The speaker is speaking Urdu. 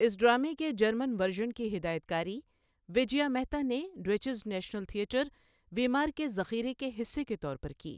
اس ڈرامے کے جرمن ورژن کی ہدایت کاری وجیا مہتا نے ڈوئچز نیشنل تھیٹر، ویمار کے ذخیرے کے حصے کے طور پر کی۔